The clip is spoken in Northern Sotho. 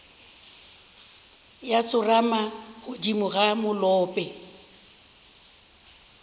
ya tsorama godimo ga molope